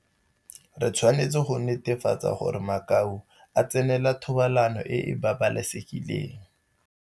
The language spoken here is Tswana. Re tshwanetse go netefatsa gore makau a tsenela thobalano e e babalesegileng.